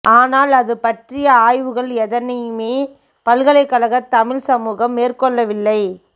ஆனால் அது பற்றிய ஆய்வுகள் எதனையுமே பல்கலைக்கழகத் தமிழ்ச் சமூகம் மேற்கொள்ளவில்லை